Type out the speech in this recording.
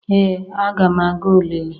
Ee aga m aga olili